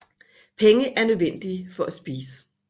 Penge er nødvendige for at spise